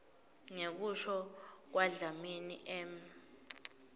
ngekusho kwadlamini m